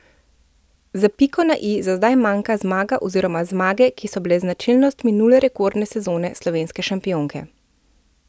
Za piko na i za zdaj manjka zmaga oziroma zmage, ki so bile značilnost minule rekordne sezone slovenske šampionke.